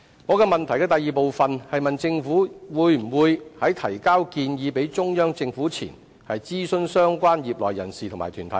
在主體質詢第二部分，我問政府在向中央政府提交建議前，會否諮詢相關業內人士和團體。